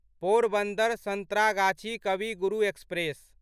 Porbandar Santragachi Kavi Guru express